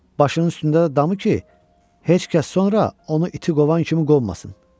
Başının üstündə də damı ki, heç kəs sonra onu iti qovan kimi qovmasın.